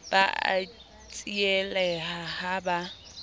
ba a tsieleha ha ba